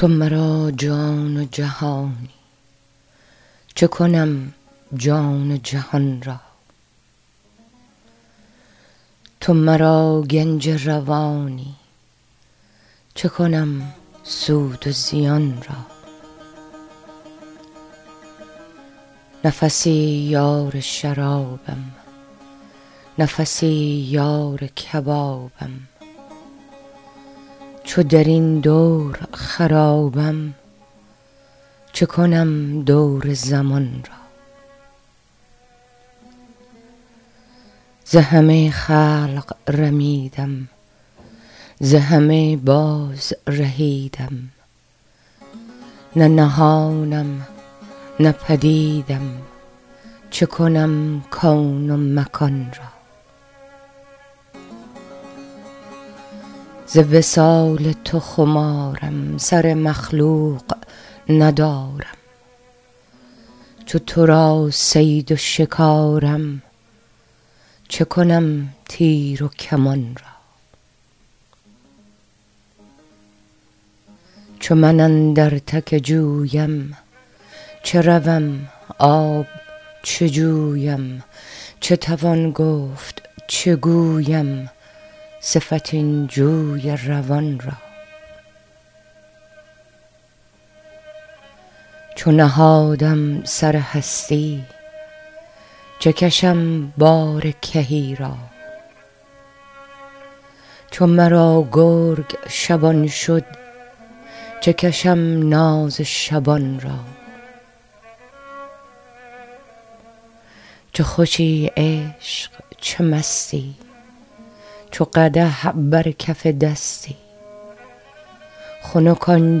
تو مرا جان و جهانی چه کنم جان و جهان را تو مرا گنج روانی چه کنم سود و زیان را نفسی یار شرابم نفسی یار کبابم چو در این دور خرابم چه کنم دور زمان را ز همه خلق رمیدم ز همه بازرهیدم نه نهانم نه پدیدم چه کنم کون و مکان را ز وصال تو خمارم سر مخلوق ندارم چو تو را صید و شکارم چه کنم تیر و کمان را چو من اندر تک جویم چه روم آب چه جویم چه توان گفت چه گویم صفت این جوی روان را چو نهادم سر هستی چه کشم بار کهی را چو مرا گرگ شبان شد چه کشم ناز شبان را چه خوشی عشق چه مستی چو قدح بر کف دستی خنک آن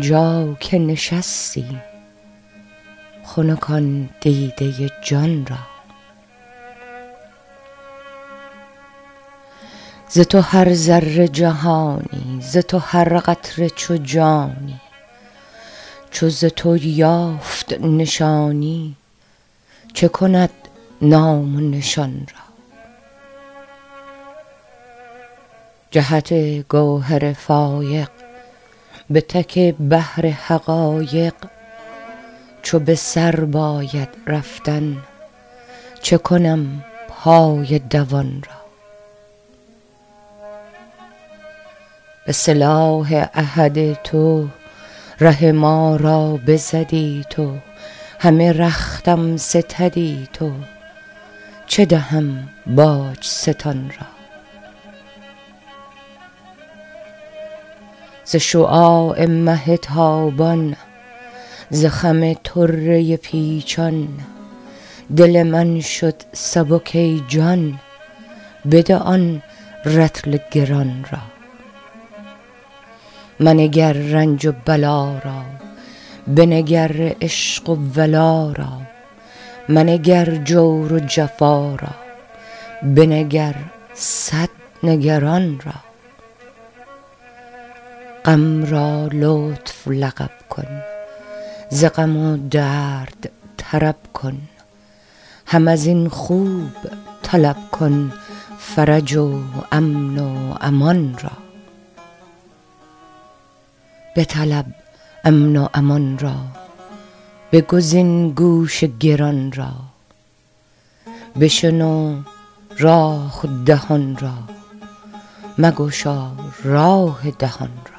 جا که نشستی خنک آن دیده جان را ز تو هر ذره جهانی ز تو هر قطره چو جانی چو ز تو یافت نشانی چه کند نام و نشان را جهت گوهر فایق به تک بحر حقایق چو به سر باید رفتن چه کنم پای دوان را به سلاح احدی تو ره ما را بزدی تو همه رختم ستدی تو چه دهم باج ستان را ز شعاع مه تابان ز خم طره پیچان دل من شد سبک ای جان بده آن رطل گران را منگر رنج و بلا را بنگر عشق و ولا را منگر جور و جفا را بنگر صد نگران را غم را لطف لقب کن ز غم و درد طرب کن هم از این خوب طلب کن فرج و امن و امان را بطلب امن و امان را بگزین گوش گران را بشنو راه دهان را مگشا راه دهان را